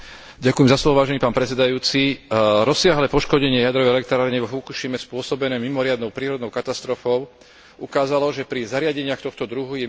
Rozsiahle poškodenie jadrovej elektrárne vo Fukušime spôsobené mimoriadnou prírodnou katastrofou ukázalo, že pri zariadeniach tohto druhu je mimoriadne dôležité dbať o ich bezpečnosť.